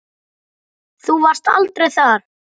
Þú varst aldrei þar.